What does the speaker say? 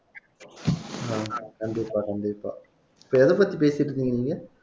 ஆஹ் கண்டிப்பா கண்டிப்பா இப்ப எதைப்பத்தி பேசிட்டு இருக்கீங்க நீங்க